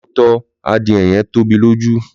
Lọtọ, adìe yẹn tobi lójú.